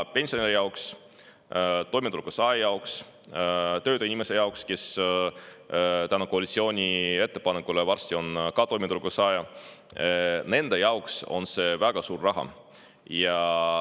Pensionäri jaoks, toimetuleku saaja jaoks, töötu inimese jaoks, kes koalitsiooni ettepaneku tõttu on varsti ka toimetuleku saaja – nende jaoks on see väga suur raha.